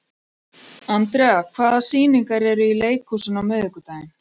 Andrea, hvaða sýningar eru í leikhúsinu á miðvikudaginn?